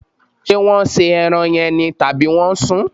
Ṣé wọn se ẹran yẹn ni, tàbí wọn sún?